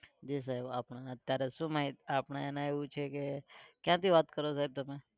જી સાહેબ આપણે અત્યારે શું માહિતી આપણે એને એવું છે કે ક્યાંથી વાત કરો સાહેબ તમે?